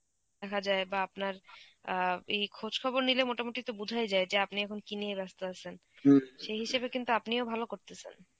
দেখা যায় বা আপনার অ্যাঁ এই খোঁজ খবর নিলে মোটামুটি তো বোঝাই যায় যে আপনি এখন কী নিয়ে ব্যস্ত আছেন. সেই হিসেবে কিন্তু আপনিও ভালো করতেসেন.